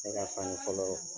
Ne ka fani fɔlɔ